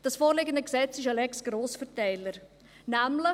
Das vorliegende Gesetz ist eine «Lex Grossverteiler».